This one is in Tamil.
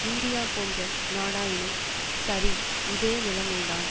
இந்தியா போன்ற நாடாயினும் சரி இதே நிலைமைதான்